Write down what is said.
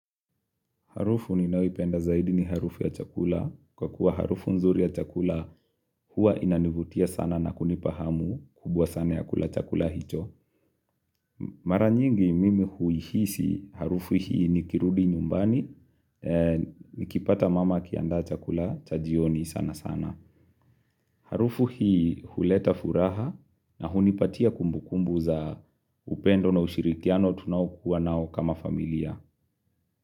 Harufu ninayoipenda zaidi ni harufu ya chakula, kwa kuwa harufu nzuri ya chakula huwa inanivutia sana na kunipa hamu kubwa sana ya kula chakula hicho. Mara nyingi mimi huihisi harufu hii nikirudi nyumbani, nikipata mama akiandaa chakula cha jioni sana sana. Harufu hii huleta furaha na hunipatia kumbukumbu za upendo na ushirikiano tunaokuwa nao kama familia.